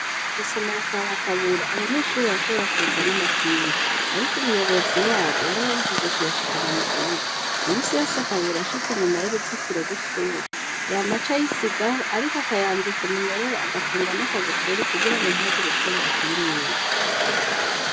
Isomero kwa bakabura abanyenshuri bayashobora kuzana'amakinga, ariko umuyobozi wabo yarababujije kuyashikana mu kibuga imisi yose akabura ashitse inyuma y'uruzitiro rw'ishuri ya maca yisigaho, ariko akayambika umunyororo agapfungan'akagufuri kugira ngo ntihagire uwushobora kuyimwibe.